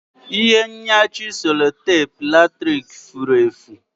Ihe nyachi sellotape latrik furu efu